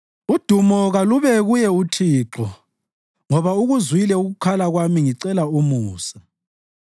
Udumo kalube kuye uThixo, ngoba ukuzwile ukukhala kwami ngicela umusa.